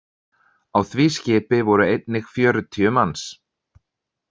Á því skipi voru einnig fjörutíu manns.